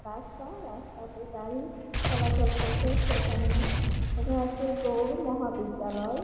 রাস্তা রাস্তাতে গাড়ি চলাচল করছে ।সেখানে লেখা রয়েছে গৌড় মহাবিদ্যালয় ।